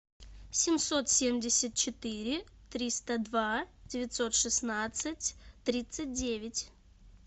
семьсот семьдесят четыре триста два девятьсот шестнадцать тридцать девять